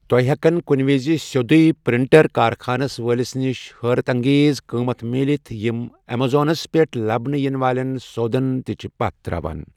تۄہہِ ہیکَن کنہِ وِز سیٚوٚدُے پرٛنٛٹر کارخانہٕ وٲلِس نِش حٲرت اَنٛگیز قۭمت مِلِتھ یِم ایمیزونس پٮ۪ٹھ لبنہٕ یِنہٕ والٮ۪ن سودَن تہِ چھِ پتھ تراوان۔